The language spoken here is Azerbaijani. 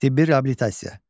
Tibbi reabilitasiya.